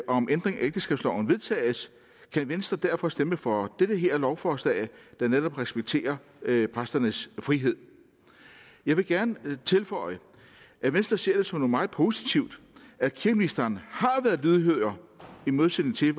om ændring af ægteskabsloven vedtages kan venstre derfor stemme for det her lovforslag der netop respekterer præsternes frihed jeg vil gerne tilføje at venstre ser det som noget meget positivt at kirkeministeren har været lydhør i modsætning til